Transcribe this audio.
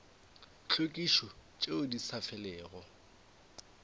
tlhwekišo tšeo di sa felego